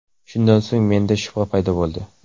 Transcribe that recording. Shundan so‘ng menda shubha paydo bo‘ldi.